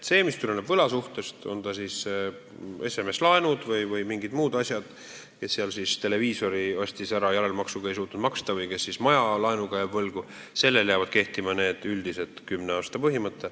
Kui tegu on võlasuhtega, on need siis SMS-laenud või mingid muud laenud – näiteks inimene ostis televiisori järelmaksuga ja ei suutnud seda raha maksta või keegi jääb majalaenu võlgu –, siis jääb aegumisel kehtima üldine kümne aasta põhimõte.